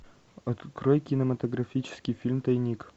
открой кинематографический фильм тайник